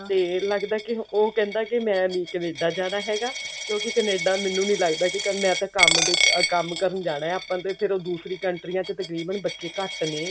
ਤੇ ਲੱਗਦਾ ਕੀ ਉਹ ਕਹਿੰਦਾ ਕੀ ਮੈਂ ਨੀ ਕਨੇਡਾ ਜਾਣਾ ਹੈਗਾ ਕਿਉਂਕਿ ਕਨੇਡਾ ਮੈਨੂੰ ਨੀ ਲੱਗਦਾ ਹੈਗਾ ਕੀ ਮੈਂ ਤਾਂ ਕੰਮ ਅਮ ਕੰਮ ਕਰਨ ਜਾਣਾ ਆਪਾਂ ਤੇ ਫ਼ੇਰ ਦੂਸਰੀ countries ਤਕਰੀਬਨ ਬੱਚੇ ਘੱਟ ਨੇ